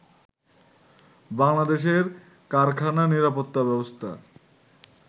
বাংলাদেশের কারখানা নিরাপত্তা ব্যবস্থা